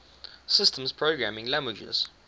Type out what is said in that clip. systems programming languages